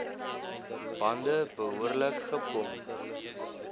bande behoorlik gepomp